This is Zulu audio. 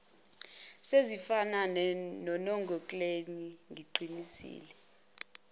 sezifana nonongekleni ngiqinisile